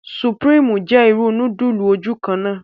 Supreme jẹ ìrù nudulu ojukanna